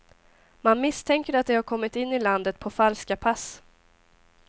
Man misstänker att de har kommit in i landet på falska pass.